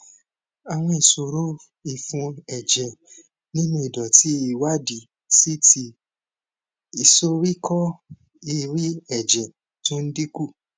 àwọn ìṣòro ìfun ẹjẹ nínú ìdòtí ìwádìí ct ìsoríkó ìrẹẹ ẹjẹ tó ń dín kù